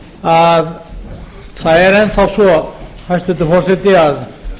að það er enn þá svo hæstvirtur forseti að